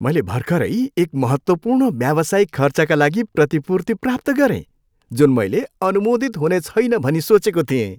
मैले भर्खरै एक महत्त्वपूर्ण व्यावसायिक खर्चका लागि प्रतिपूर्ति प्राप्त गरेँ जुन मैले अनुमोदित हुनेछैन भनी सोचेको थिएँ।